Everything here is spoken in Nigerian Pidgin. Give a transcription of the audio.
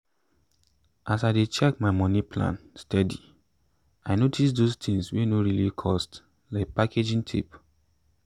as i dey check my money plan steady i notice those tins wey no really cost like packaging tape.